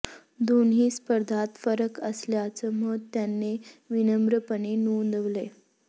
दोन्ही स्पर्धात फरक असल्याचं मत त्याने विनम्रपणे नोंदवलंय